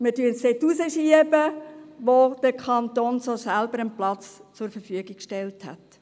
Wir schieben es hinaus, dorthin, wo der betreffende Kanton selbst schon einen Platz zur Verfügung gestellt hat.